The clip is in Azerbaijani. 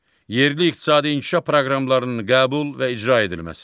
Yerli iqtisadi inkişaf proqramlarının qəbul və icra edilməsi.